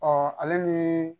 ale ni